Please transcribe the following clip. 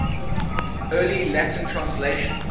early latin translations